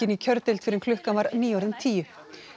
inn í kjördeild fyrr en klukkan var nýorðin tíu